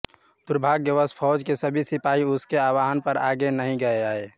दुर्भाग्यवश फौज के सभी सिपाही उसके आवाहन पर आगे नहीं आये